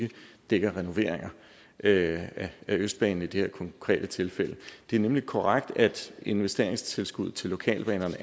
ikke dækker renoveringer af østbanen i det her konkrete tilfælde det er nemlig korrekt at investeringstilskuddet til lokalbanerne